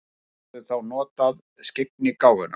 Geturðu þá notað skyggnigáfuna?